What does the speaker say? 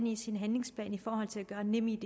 i sin handlingsplan for at gøre nemid